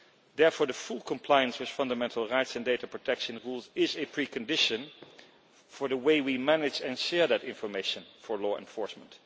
Therefore full compliance with fundamental rights and data protection rules is a precondition for the way we manage and share that information for law enforcement.